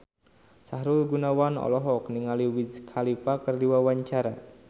Sahrul Gunawan olohok ningali Wiz Khalifa keur diwawancara